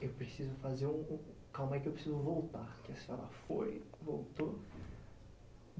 Eu preciso fazer um... Calma aí, que eu preciso voltar, que a senhora foi, voltou.